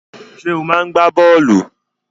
Ṣé ò máa ń gbá bọ́ọ̀lù?